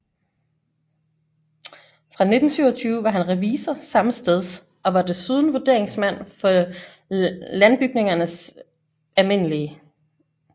Fra 1927 var han revisor sammesteds og var desuden vurderingsmand for Landbygningernes alm